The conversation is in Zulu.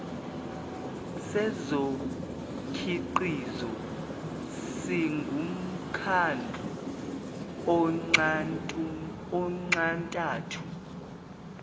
sezokhiqizo singumkhandlu onxantathu